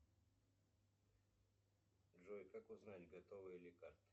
джой как узнать готова ли карта